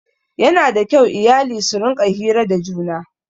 Yana da kyau iyali su rinƙa hira da juna.